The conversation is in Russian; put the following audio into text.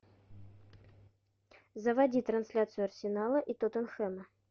заводи трансляцию арсенала и тоттенхэма